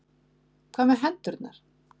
Hvað með hendurnar?